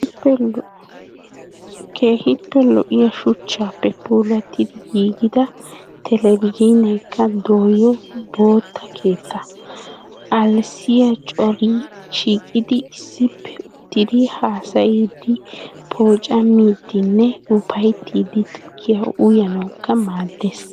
Keehippe lo"iyaa shucchaappe puulattidi giigida telbejiinekka doyo bootta keettaa. Alsayi corayi shiiqidi issippe uttidi haasayiiddi, poocammiidfinne upayittiddi tukkiya uyanawukka maaddes.